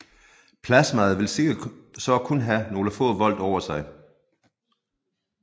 Plasmaet vil sikkert så kun have nogle få volt over sig